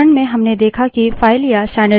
अब इसे व्यावहारिक रूप में देखते हैं